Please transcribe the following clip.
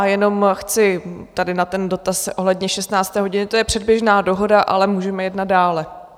A jenom chci tady na ten dotaz ohledně 16. hodiny - to je předběžná dohoda, ale můžeme jednat dále.